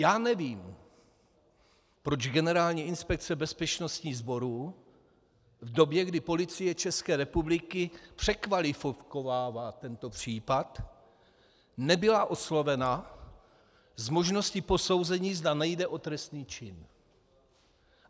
Já nevím, proč Generální inspekce bezpečnostních sborů v době, kdy Policie České republiky překvalifikovává tento případ, nebyla oslovena s možností posouzení, zda nejde o trestný čin.